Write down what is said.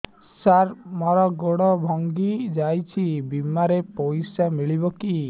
ସାର ମର ଗୋଡ ଭଙ୍ଗି ଯାଇ ଛି ବିମାରେ ପଇସା ମିଳିବ କି